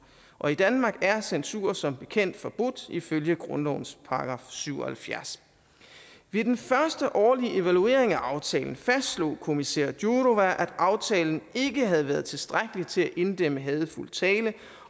og i danmark er censur som bekendt forbudt ifølge grundlovens § syv og halvfjerds ved den første årlige evaluering af aftalen fastslog kommissær jourová at aftalen ikke havde været tilstrækkelig til at inddæmme hadefuld tale